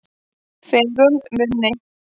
Feigum munni